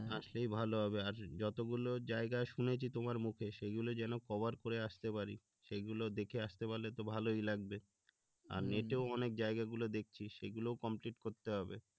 না সেই ভালো হবে আর যতগুলো জায়গা শুনেছি তোমার মুখে সেগুলি যেন কভার করে আসরে পারি সেইগুলো দেখে আসতে পারলে তো ভালো লাগবে আর নেটেও অনেক জায়গাগুলো দেখছি সেগুলোও করতে হবে